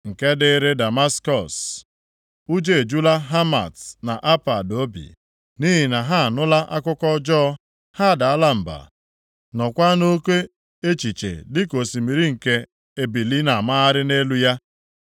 Nke dịrị Damaskọs: “Ụjọ ejula Hamat na Apad obi, nʼihi na ha anụla akụkọ ọjọọ. Ha adaala mba, nọọkwa nʼoke echiche dịka osimiri nke ebili na-amagharị nʼelu ya.